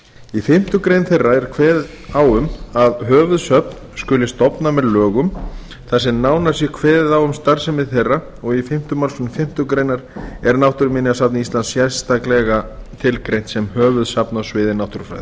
í fimmtu grein þeirra er kveðið á um að höfuðsöfn skuli stofna með lögum þar sem nánar sé kveðið á um starfsemi þeirra og í fimmta málsgrein fimmtu grein er náttúruminjasafn íslands sérstaklega tilgreint sem höfuðsafn á sviði náttúrufræða